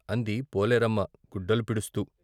" అంది పోలేరమ్మ గుడ్డలు పిడుస్తూ..